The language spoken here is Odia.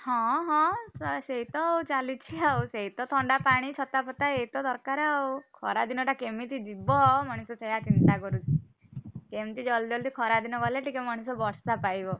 ହଁ ହଁ ସେଇତ ଚାଲିଛି ଆଉ, ସେଇତ ଥଣ୍ଡା ପାଣି ଛତା ଫତା ଏଇ ତ ଦରକାର ଆଉ ଖରା ଦିନ ଟା କେମିତି ଯିବା ମଣିଷ ସେଇଆଚିନ୍ତା କରୁଛି, କେମତି ଜଲ୍‌ଦି ଖରାଦିନ ଗଲେ ଟିକେ ମଣିଷ ବର୍ଷା ପାଇବ।